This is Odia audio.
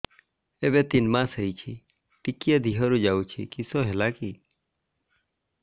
ଏବେ ତିନ୍ ମାସ ହେଇଛି ଟିକିଏ ଦିହରୁ ଯାଉଛି କିଶ ହେଲାକି